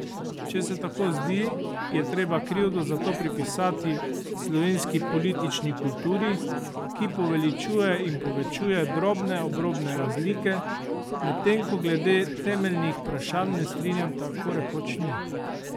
Če se tako zdi, je treba krivdo za to pripisati slovenski politični kulturi, ki poveličuje in povečuje drobne obrobne razlike, medtem ko glede temeljnih vprašanj nestrinjanj tako rekoč ni.